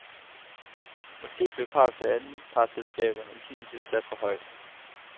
Måske blev kravet til anpartsselskaberne i sin tid sat for højt.